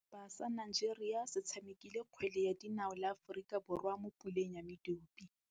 Setlhopha sa Nigeria se tshamekile kgwele ya dinaô le Aforika Borwa mo puleng ya medupe.